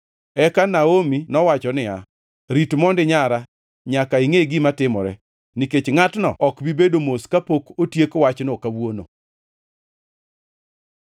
Eka Naomi nowacho niya, “Rit mondi, nyara, nyaka ingʼe gima timore. Nikech ngʼatno ok bi bedo mos kapok otiek wachno kawuono.”